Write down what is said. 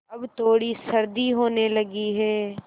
अब थोड़ी सर्दी होने लगी है